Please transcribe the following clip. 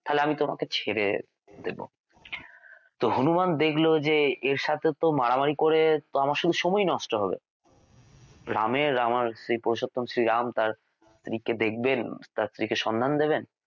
তাহলে আমি তোমাকে ছেড়ে দেব তো হনুমান দেখল যে এর সাথে তো মারামারি করে আমার শুধু সময় নষ্ট হবে রাম এর আমার সেই পুরুষোত্তম শ্রীরাম তাঁর স্ত্রীকে দেখবেন তাঁর স্ত্রীকে সন্ধান দেবেন